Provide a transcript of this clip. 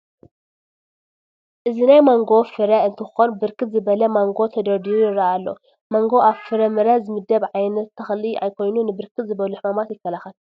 እዚ ናይ ማንጎ ፍረ እንትኮን ብርክት ዝበለ ማንጎ ተደርዲሩ ይረአ አሎ፡፡ ማንጎ አብ ፍረምረ ዝምደብ ዓይነት ተክሊ ኮይኑ ንብርክት ዝበሉ ሕማማት ይከላከል፡፡